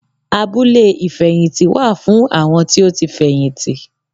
Abúlé ìfẹ̀yìntì wáà fún àwọn tí ó fẹ̀yìntì